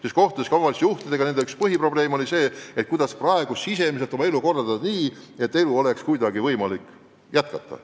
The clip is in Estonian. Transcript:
Kui kohtuda omavalitsusjuhtidega, siis kuuleme, et üks põhiprobleem on olnud see, kuidas kõike sisemiselt korraldada nii, et elu oleks kuidagi võimalik jätkata.